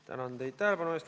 Tänan teid tähelepanu eest!